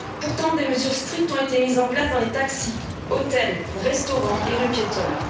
Pourtant, des mesures strictes ont été mises en place dans les taxis, hôtels, restaurants et rues piétonnes.